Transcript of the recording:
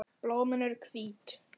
Blómin eru hvít.